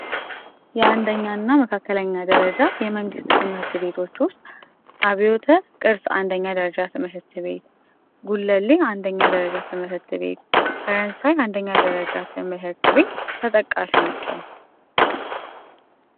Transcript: የ1 ኛና መካከለኛ የመንግስት ትምህርት ቤቶች ውስጥ አብዮት 1ኛ ደረጃ ትምህርት ቤት ጉለሌ አንደኛ ደረጃ ትምህርት ቤት አያት አንደኛ ደረጃ ትምህርት ቤት ተጠቃሽ ናቸው።